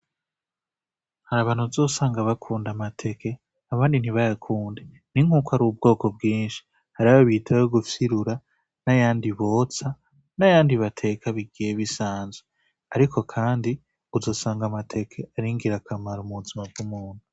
Hari abantu uzosanga bakunda amateke abandi ntibayakunde, ni nkuko ari bwoko bwinshi. hari ayo bita ayo gufyirura, n'ayandi botsa n'ayandi bateka bisanzwe ariko kandi uzosanga amateke ari ngirakamaro mu buzima bw'umuntu.